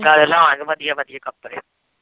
ਚੱਲ ਲਿਆਵਾਂਗੇ ਵਧੀਆ ਵਧੀਆ ਕੱਪੜੇ